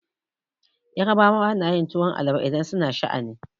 Yarbawa na yin tuwon amala idan su na sha'ani.